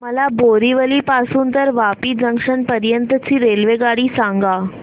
मला बोरिवली पासून तर वापी जंक्शन पर्यंत ची रेल्वेगाडी सांगा